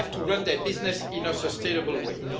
they have to run their businesses in a sustainable way.